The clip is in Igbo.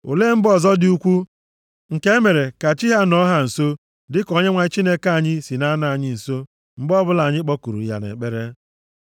Olee mba ọzọ dị ukwuu, nke e mere ka chi ha nọọ ha nso dịka Onyenwe anyị Chineke anyị si na-anọ anyị nso mgbe ọbụla anyị kpọkuru ya nʼekpere?